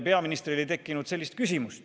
Peaministril ei tekkinud sellist küsimustki.